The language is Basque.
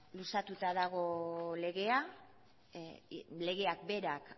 luzatuta dago legea legeak berak